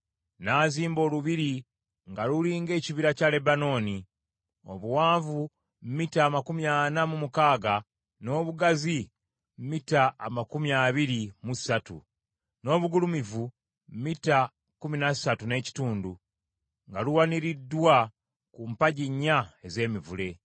N’azimba olubiri nga luli ng’Ekibira kya Lebanooni , obuwanvu mita amakumi ana mu mukaaga, n’obugazi mita amakumi abiri mu ssatu, n’obugulumivu mita kkumi na ssatu n’ekitundu, nga luwaniriddwa ku mpagi nnya ez’emivule.